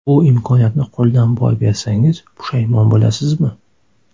Bu imkoniyatni qo‘ldan boy bersangiz pushaymon bo‘lasizmi?